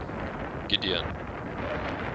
gideon